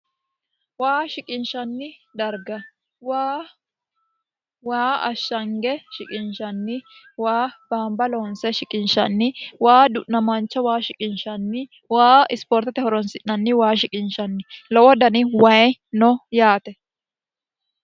waa shiqinshanni darga waa ashshange shiqinshanni waa baamba loonse shiqinshanni waa du'namaancha waa shiqinshanni waa ispoortete horonsi'nanni waa shiqinshanni lowo dani wayi no yaate